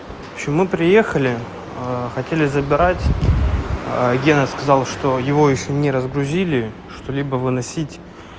в общем мы приехали хотели забирать гена сказал что его ещё не разгрузили что-либо выносить